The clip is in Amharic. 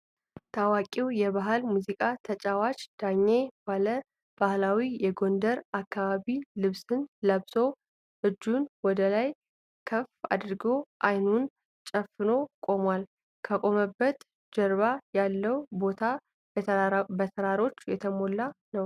ታዋቂው የባህል ሙዚቃ ተጫዋች ዳኜ ዋለ ባህላዊ የጎንደር አካባቢ ልብስን ለብሶ እጁን ወደላይ ከፍ አድርጎ አይኑን ጨፍኖ ቆሟል። ከቆመበት ጀርባ ያለው ቦታ በተራሮች የተሞላ ነው።